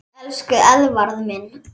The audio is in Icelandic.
Elsku Eðvarð minn.